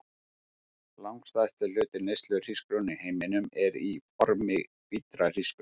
Langstærsti hluti neyslu hrísgrjóna í heiminum er í formi hvítra hrísgrjóna.